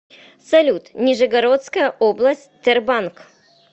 салют нижегородская область тербанк